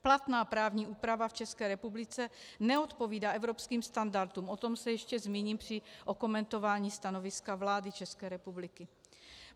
Platná právní úprava v České republice neodpovídá evropským standardům, o tom se ještě zmíním při okomentování stanoviska vlády České republiky.